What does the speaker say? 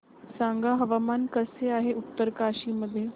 सांगा हवामान कसे आहे उत्तरकाशी मध्ये